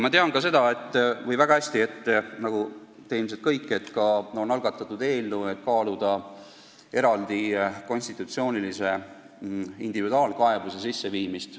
Nagu ilmselt teie kõik, tean ka mina seda, et on algatatud eelnõu, et kaaluda individuaalse konstitutsioonilise kaebuse sisseviimist.